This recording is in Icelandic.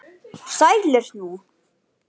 Æ, snertir þú við þyrni?